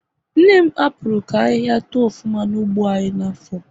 Nne m hapuru ka ahihia too ofuma na ugbo anyi n'afo